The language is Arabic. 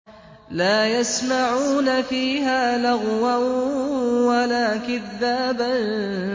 لَّا يَسْمَعُونَ فِيهَا لَغْوًا وَلَا كِذَّابًا